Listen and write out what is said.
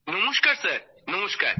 নমস্কার স্যার নমস্কার